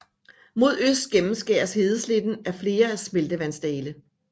Mod øst gennemskæres hedesletten af flere smeltevandsdale